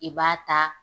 I b'a ta